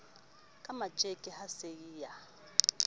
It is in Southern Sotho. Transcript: ka matjeke a se a